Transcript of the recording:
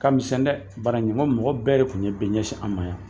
Ka misɛn dɛ bara in nko mɔgɔ bɛɛ de tun bɛ ɲɛsin an ma yan